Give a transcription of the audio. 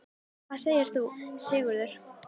Hvað segir þú, Sigurður?